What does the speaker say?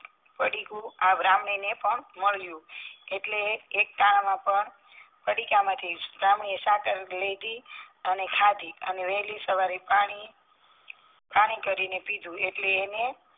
પડીકુંઆ બ્રાહ્મણીને પણ મળ્યું એટલે એકટાણામાં પણ પડીકા માથી બ્રાહ્મણીએ સાકાર લીધી અને ખાધી અને વેહલી સવારે પાણી કરીને પીધું એટલે એને